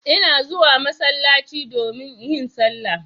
Ina zuwa masallaci domin yin salla.